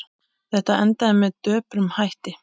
Þetta endaði með döprum hætti.